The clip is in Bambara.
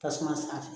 Tasuma sanfɛ